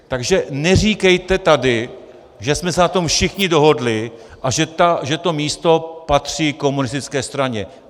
Takže neříkejte tady, že jsme se na tom všichni dohodli a že to místo patří komunistické straně.